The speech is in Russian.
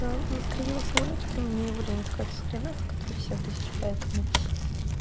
я заскринила самолётик но мне его лень искать в скринах которых семь тысяч поэтому